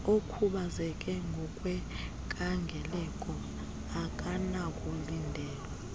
okhubazeke ngokwenkangeleko akanakulindelwa